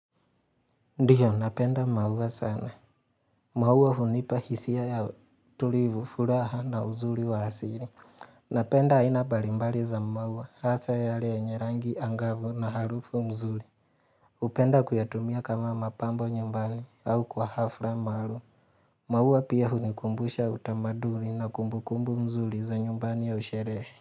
Ndiyo napenda maua sana. Maua hunipa hisia ya tulivu furaha na uzuri wa asiri. Napenda aina mbarimbari za maua hasa yare yenye rangi angavu na harufu mzuri. Hupenda kuyatumia kama mapambo nyumbani au kwa hafra maarum. Maua pia hunikumbusha utamaduri na kumbukumbu mzuri za nyumbani ya usherehe.